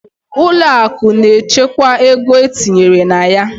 Ụlọ akụ na-echekwa ego e tinyere na ya.